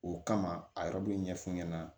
O kama a yɛrɛ b'o ɲɛ f'u ɲɛna